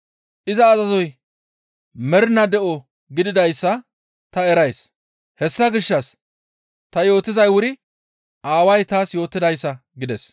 Iza azazoy mernaa de7o gididayssa ta erays; hessa gishshas ta yootizay wuri Aaway taas yootidayssa» gides.